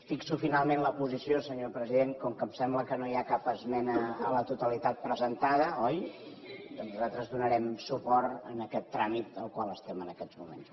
fixo finalment la posició senyor president com que em sembla que no hi ha cap esmena a la totalitat presentada oi port a aquest tràmit en el qual estem en aquests moments